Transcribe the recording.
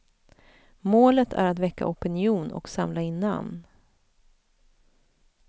Målet är att väcka opinion och samla in namn.